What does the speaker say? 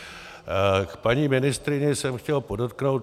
K paní ministryni jsem chtěl podotknout.